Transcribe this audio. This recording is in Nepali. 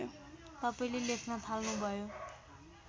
तपाईँले लेख्न थाल्नुभयो